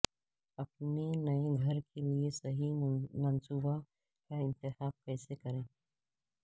اپنے نئے گھر کے لئے صحیح منصوبہ کا انتخاب کیسے کریں